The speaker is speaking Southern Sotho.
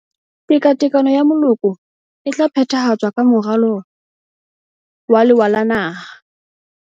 Tekatekano ya Moloko e tla phethahatswang ka Moralo wa Lewa la Naha.